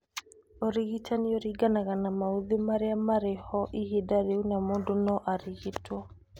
Ũrigitani ũringanaga na maũthĩ marĩa marĩ ho ihinda rĩu na mũndũ no arigitwo